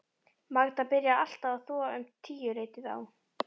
Magda byrjaði alltaf að þvo um tíuleytið á